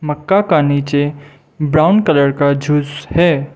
मक्का का नीचे brown colour का झूस है।